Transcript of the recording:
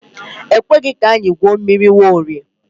E kweghị ka anyị gwuo mmiri Nwaorie.